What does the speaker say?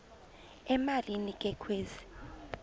emalini ke kwezi